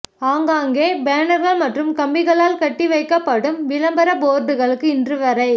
ஆங்காங்கே பேனர்கள் மற்றும் கம்பிகளால் கட்டிவைக்கப்படும் விளம்பர போர்டுகளுக்கு இன்று வரை